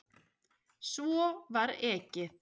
Svo var ekið.